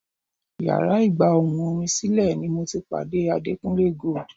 Yàrá ìgbà ohùn orin sílẹ̀ ni mo ti pàdé Adekunle Gold.